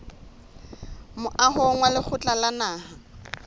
moahong wa lekgotla la naha